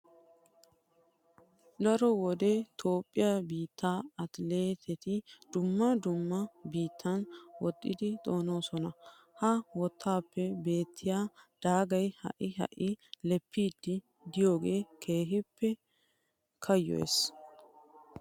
Daro wode toophphiya biittaa atileeteti dumma dumma biittatun woxxidi xoonoosona. Ha wottaappe beettiya daagay ha"i ha"i leppiiddi de'iyogee keehippe kayyoyees.